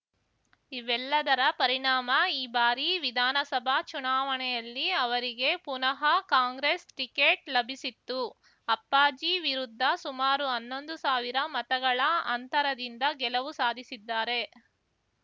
ಇವೆಲ್ಲದರ ಪರಿಣಾಮ ಈ ಬಾರಿ ವಿಧಾನಸಭಾ ಚುನಾವಣೆಯಲ್ಲಿ ಅವರಿಗೆ ಪುನಃ ಕಾಂಗ್ರೆಸ್‌ ಟಿಕೆಟ್‌ ಲಭಿಸಿತ್ತು ಅಪ್ಪಾಜಿ ವಿರುದ್ಧ ಸುಮಾರು ಹನ್ನೊಂದು ಸಾವಿರ ಮತಗಳ ಅಂತರದಿಂದ ಗೆಲುವು ಸಾಧಿಸಿದ್ದಾರೆ